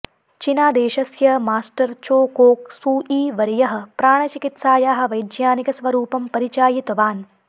चिनादेशस्य master Choa Kok सुईवर्यः प्राणचिकित्सायाः वैज्ञानिकस्वरूपं परिचायितवान्